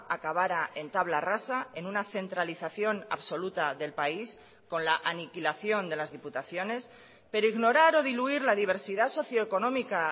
acabara en tabla rasa en una centralización absoluta del país con la aniquilación de las diputaciones pero ignorar o diluir la diversidad socio económica